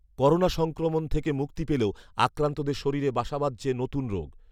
corona সংক্রমণ থেকে মুক্তি পেলেও আক্রান্তদের শরীরে বাসা বাঁধছে নতুন রোগ